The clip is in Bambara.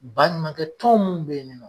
Ba ɲumankɛ tɔn mun be yen ni nɔ